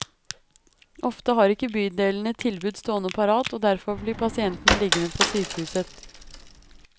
Ofte har ikke bydelene et tilbud stående parat, og derfor blir pasientene liggende på sykehuset.